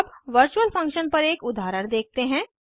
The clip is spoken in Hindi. अब वर्चूअल फंक्शन्स पर एक उदाहरण देखते हैं